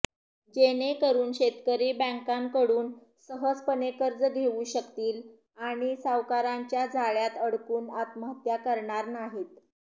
जेणेकरुन शेतकरी बँकांकडून सहजपणे कर्ज घेऊ शकतील आणि सावकारांच्या जाळ्यात अडकून आत्महत्या करणार नाहीत